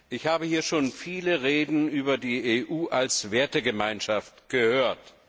Ich habe hier schon viele Redebeiträge über die EU als Wertegemeinschaft gehört.